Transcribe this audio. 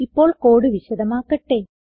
ഇപ്പോൾ കോഡ് വിശദമാക്കട്ടെ